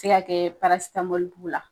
Se ka kɛ b'u la